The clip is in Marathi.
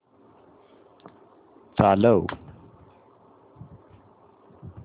चालव